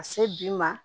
Ka se bi ma